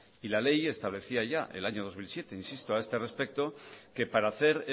y la ley establecía ya en el año dos mil siete insisto a este respecto que para hacer